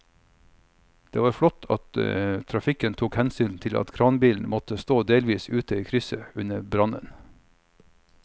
Det var flott at trafikken tok hensyn til at kranbilen måtte stå delvis ute i krysset under brannen.